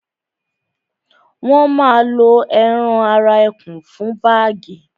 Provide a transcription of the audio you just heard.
wọ́n ma lo ẹran ara ẹkùn fún bágì